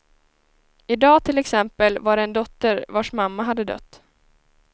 I dag till exempel var det en dotter vars mamma hade dött.